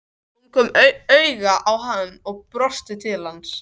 Hún kom auga á hann og brosti til hans.